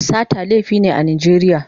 Sata laifi ne a Najeriya.